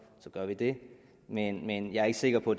så gør vi det men jeg er ikke sikker på